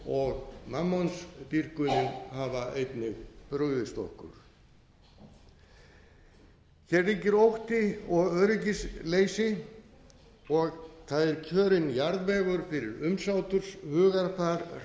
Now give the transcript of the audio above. segja efnishyggjan og mammonsdýrkunin hafa einnig brugðist okkur hér ríkir ótti og öryggisleysi og það er kjörinn jarðvegur fyrir umsáturshugarfar